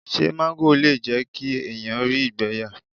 Ṣé máńgò le jẹ́ kí èèyàn rí ìgbẹ́ yà?